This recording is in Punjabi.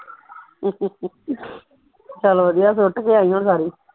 ਚੱਲ ਵਧੀਆ ਸੁੱਟ ਕੇ ਆਈ ਹੁਣ ਸਾਰੀ